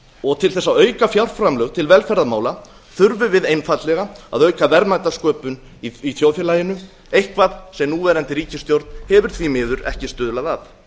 og til þess að auka fjárframlög til velferðarmála þurfum við einfaldlega að auka verðmætasköpun í þjóðfélaginu eitthvað sem núverandi ríkisstjórn hefur því miður ekki stuðlað að